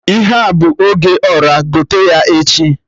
Ihe a bụ oge Ọra, gote ya echi